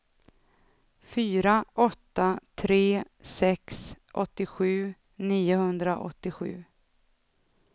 fyra åtta tre sex åttiosju niohundraåttiosju